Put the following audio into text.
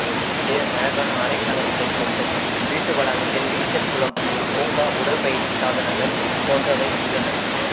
வீடு அழகான அறைக்கலன்களைக் கொண்டும் வீட்டு வளாகத்தில் நீச்சல் குளம் ஒரு பூங்கா உடற் பயிற்சி சாதனங்கள் போன்றவை உள்ளன